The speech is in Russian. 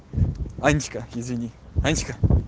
анечка извини анечка